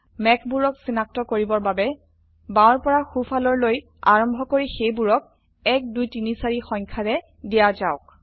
মেঘবোৰক সিনাক্ত কৰিবৰ বাবে বাওৰ পৰা সো ফালৰলৈ আৰম্ভ কৰি সেইবোৰক ১ ২ ৩ ৪ সংখ্যাৰে দিয়া যাওক